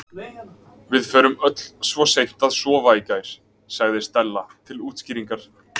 Við fórum öll svo seint að sofa í gær- sagði Stella til útskýringar.